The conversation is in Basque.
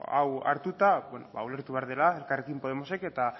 hau hartuta ulertu behar dela elkarrekin podemosek eta